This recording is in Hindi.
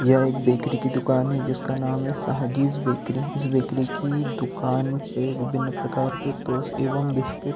यह एक बेकरी की दुकान है जिसका नाम है साहागिर बेकरी इस बेकरी की दुकान पे विभिन्न प्रकार के टोस्ट एम्म बिस्किट्स --